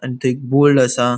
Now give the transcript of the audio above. आणि थय एक बोल्ड असा.